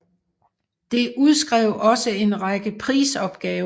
Det udskrev også en række prisopgaver